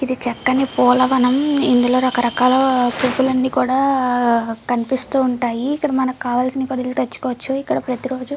ఇది చక్కని పూలవనం. ఇందులో రక రకాలా పూలన్నీ కూడా కనిపిస్తూ ఉంటాయి. ఇక్కడ మనకు కావాల్సిన వెళ్ళి తెచ్చుకోవచ్చు. ఇక్కడ ప్రతిరోజు--